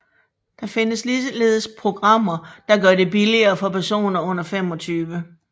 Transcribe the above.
Der findes ligeledes programmer der gør det billigere for personer under 25